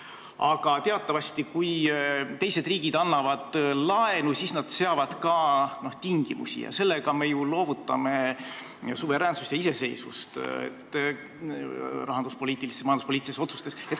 Aga teatavasti, kui teised riigid annavad laenu, siis nad seavad ka tingimusi ning sellega me ju loovutame suveräänsust ja iseseisvust rahanduspoliitilistes ja majanduspoliitilistes otsustes.